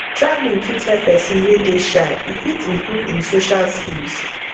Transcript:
travelling fit help person wey dey shy e fit improve im social skills